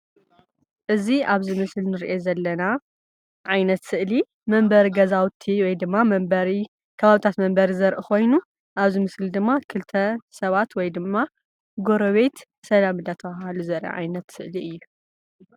እዚ ኣብዚ ምስሊ ንርኦ ዘለና ዓይነት ስእሊ መንበሪ ገዛውቲ ወይድማ ከባቢያዊ መንበሪ ኮይኑ ኣብ ክልተ ሰባት ወይድማ ጎሬቤት ሰላም እንዳተባሃሉ ዘርኢ ዓይነት ስእሊ እዩ።